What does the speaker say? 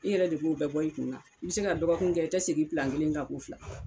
I yɛrɛ de b'u bɛɛ bɔ i kunna i bɛ se ka dɔgɔkun kɛ i tɛ segin pilan kelen kan ko fila.